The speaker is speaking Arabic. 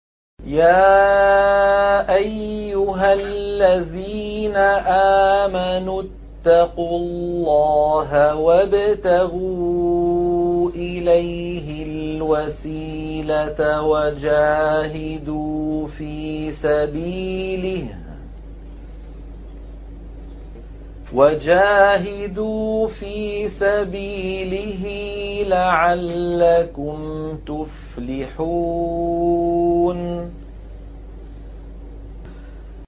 يَا أَيُّهَا الَّذِينَ آمَنُوا اتَّقُوا اللَّهَ وَابْتَغُوا إِلَيْهِ الْوَسِيلَةَ وَجَاهِدُوا فِي سَبِيلِهِ لَعَلَّكُمْ تُفْلِحُونَ